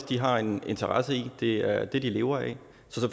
de har en interesse i det er det de lever af